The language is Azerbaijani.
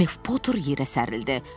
Mef Potur yerə sərildi.